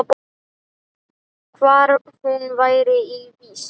Hvar hún væri í vist.